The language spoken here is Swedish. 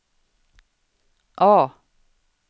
A